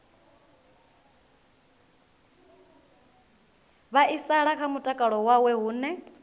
vhaisala kha mutakalo wawe hune